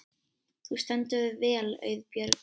Þú stendur þig vel, Auðbjörg!